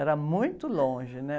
Era muito longe, né?